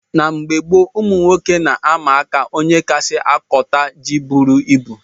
Na mgbe gboo ụmụnwoke na - ama aka ónyé kasị kota jị bụrụ ịbụ